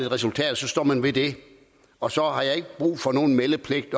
resultat og så står man ved det og så har jeg ikke brug for nogen meldepligt